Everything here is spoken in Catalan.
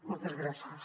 moltes gràcies